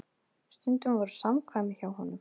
Stundum voru samkvæmi hjá honum.